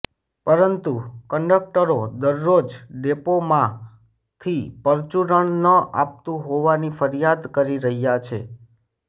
પરંતુ કંડકટરો દરરોજ ડેપોમાંી પરચુરણ ન અપાતું હોવાની ફરિયાદ કરી રહ્યાં છે